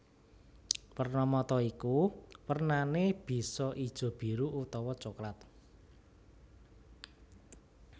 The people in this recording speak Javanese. Werna mata iku wernané bisa ijo biru utawa coklat